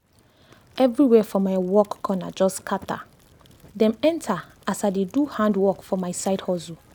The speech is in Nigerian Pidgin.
everywhere for my work corner just scatter—dem enter as i dey do handwork for my side hustle.